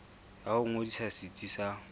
ya ho ngodisa setsi sa